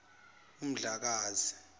umdlakazi